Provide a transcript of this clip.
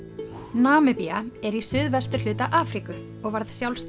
Namibía er í suðvesturhluta Afríku og varð sjálfstæð